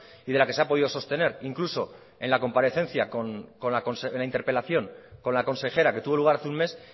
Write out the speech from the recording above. y la que se ha podido sostener incluso en la comparecencia de la interpelación con la consejera que tuvo lugar hace un mes